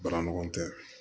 Baara ɲɔgɔn tɛ